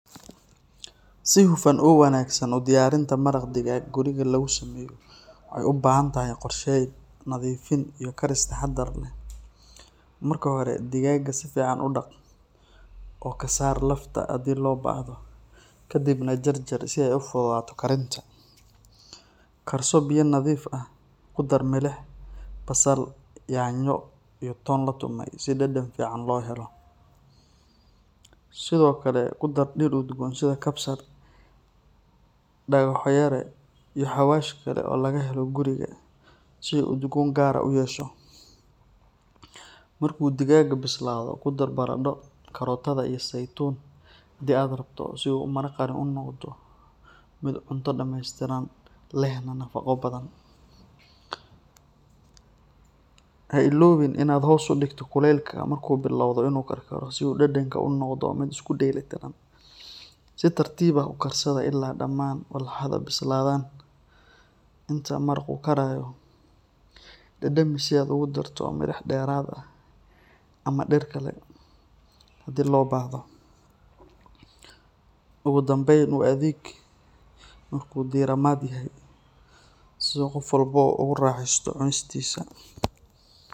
Si hufan oo wanaagsan u diyaarinta maraq digaag guriga lagu sameeyo waxay u baahan tahay qorsheyn, nadiifin, iyo karis taxadar leh. Marka hore, digaagga si fiican u dhaq oo ka saar lafta haddii loo baahdo, kadibna jarjar si ay u fududaato karinta. Karso biyo nadiif ah, ku dar milix, basal, yaanyo, iyo toon la tumay si dhadhan fiican loo helo. Sidoo kale, ku dar dhir udgoon sida kabsar, dhagaxo yare, iyo xawaash kale oo laga helo guriga si uu udgoon gaar ah u yeesho. Markuu digaagga bislaado, ku dar baradho, karootada, iyo saytuun haddii aad rabto, si uu maraqani u noqdo mid cunto dhameystiran lehna nafaqo badan. Ha illoobin inaad hoos u dhigto kuleylka marka uu bilowdo inuu karkaro si dhadhanka uu u noqdo mid isku dheeli tiran. Si tartiib ah u karsada ilaa dhammaan walxaha bislaadaan. Inta maraqu karayo, dhadhami si aad ugu darto milix dheeraad ah ama dhir kale haddii loo baahdo. Ugu dambeyn, u adeeg markii uu diirimaad yahay, si uu qof walba ugu raaxeysto cunistiisa.